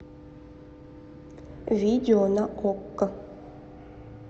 видео на окко